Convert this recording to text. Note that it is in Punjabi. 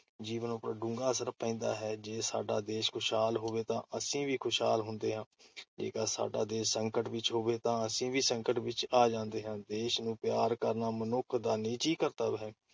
ਜੀਵਨ ਉੱਪਰ ਡੂੰਘਾ ਅਸਰ ਪੈਂਦਾ ਹੈ। ਜੇ ਸਾਡਾ ਦੇਸ਼ ਖੁਸਹਾਲ ਹੋਵੇ ਤਾਂ ਅਸੀ ਵੀ ਖੁਸ਼ਹਾਲ ਹੁੰਦੇ ਹਾਂ। ਜੇਕਰ ਸਾਡਾ ਦੇਸ਼ ਸੰਕਟ ਵਿੱਚ ਹੋਵੇ ਤਾਂ ਅਸੀ ਵੀ ਸੰਕਟ ਵਿੱਚ ਆ ਜਾਂਦੇ ਹਨ। ਦੇਸ਼ ਨੂੰ ਪਿਆਰ ਕਰਨਾ ਮਨੁੱਖ ਦਾ ਨਿੱਜੀ ਕਰਤੱਵ ਹੈ।